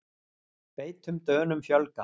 Feitum Dönum fjölgar